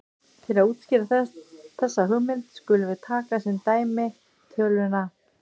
Til að útskýra þessa hugmynd skulum við taka sem dæmi töluna